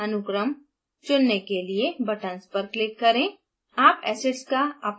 nucleic acid अनुक्रम चुनने के लिए buttons पर click करें